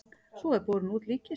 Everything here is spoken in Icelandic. Svo er borin út líkkista.